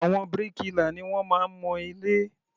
Àwọn bíríkìlà ni wọ́n máa ń mọ ilé.